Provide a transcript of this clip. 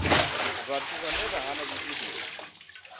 vhathu vhane vha hana vhugudisi